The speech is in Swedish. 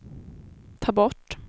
ta bort